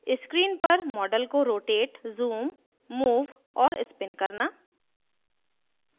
screen पर model को rotate zoom move और spin करना